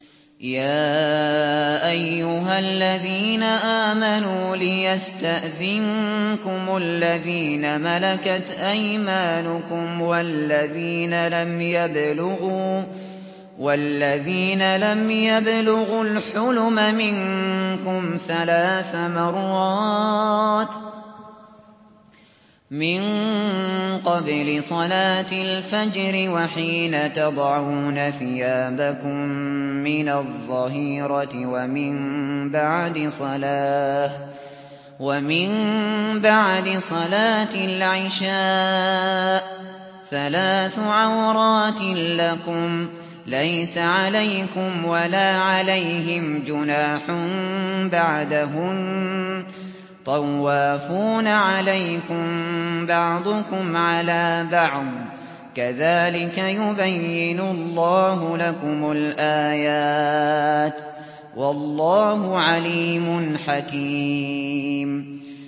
يَا أَيُّهَا الَّذِينَ آمَنُوا لِيَسْتَأْذِنكُمُ الَّذِينَ مَلَكَتْ أَيْمَانُكُمْ وَالَّذِينَ لَمْ يَبْلُغُوا الْحُلُمَ مِنكُمْ ثَلَاثَ مَرَّاتٍ ۚ مِّن قَبْلِ صَلَاةِ الْفَجْرِ وَحِينَ تَضَعُونَ ثِيَابَكُم مِّنَ الظَّهِيرَةِ وَمِن بَعْدِ صَلَاةِ الْعِشَاءِ ۚ ثَلَاثُ عَوْرَاتٍ لَّكُمْ ۚ لَيْسَ عَلَيْكُمْ وَلَا عَلَيْهِمْ جُنَاحٌ بَعْدَهُنَّ ۚ طَوَّافُونَ عَلَيْكُم بَعْضُكُمْ عَلَىٰ بَعْضٍ ۚ كَذَٰلِكَ يُبَيِّنُ اللَّهُ لَكُمُ الْآيَاتِ ۗ وَاللَّهُ عَلِيمٌ حَكِيمٌ